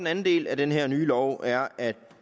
anden del af den her nye lov er at